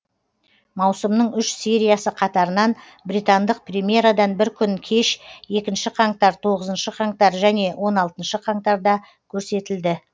маусымның үш сериясы қатарынан британдық премьерадан бір күн кеш екінші қаңтар тоғызыншы қаңтар және он алтыншы қаңтарда көрсетілді